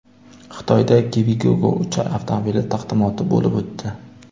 Xitoyda Kiwigogo uchar avtomobili taqdimoti bo‘lib o‘tdi.